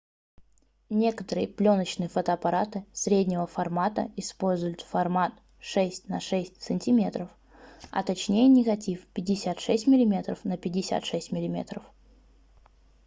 некоторые плёночные фотоаппараты среднего формата используют формат 6 на 6 сантиметров а точнее негатив 56мм на 56 мм